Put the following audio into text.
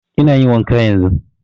Ina yin wanka yanzun